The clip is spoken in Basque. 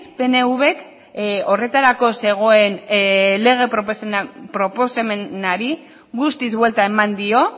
pnvk horretarako zegoen lege proposamenari guztiz buelta eman dio